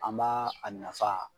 An b'a a nafa